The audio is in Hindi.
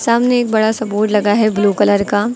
सामने एक बड़ा सा बोर्ड लगा है ब्लू कलर का।